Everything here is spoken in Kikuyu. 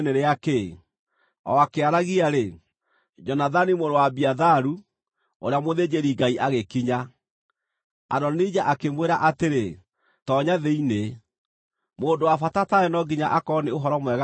O akĩaragia-rĩ, Jonathani mũrũ wa Abiatharu ũrĩa mũthĩnjĩri-Ngai agĩkinya. Adonija akĩmwĩra atĩrĩ, “Toonya thĩinĩ. Mũndũ wa bata tawe no nginya akorwo nĩ ũhoro mwega aatũrehere.”